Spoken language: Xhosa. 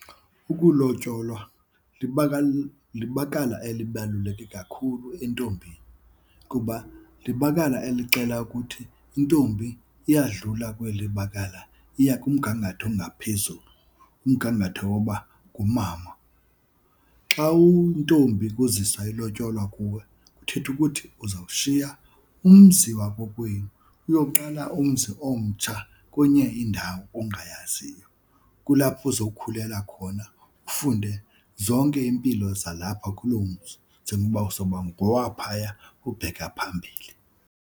Ukulotyolwa libakala elibaluleke kakhulu entombini kuba libakala elixela ukuthi intombi iyadlula kweli bakala iya kumgangatho ongaphezulu, umgangatho woba ngumama. Xa uyintombi kuziswa ilotyolwa kuwe kuthetha ukuthi uzawushiya umzi wakokwenu uyoqala umzi omtsha kwenye indawo ongayaziyo. Kulapho uzokhulela khona ufunde zonke iimpilo zalapha kuloo mzi njengoba uzoba ngowaphaya ubheka phambili.